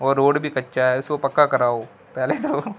और रोड भी कच्चा है उसको पक्का करो पहले जाओ--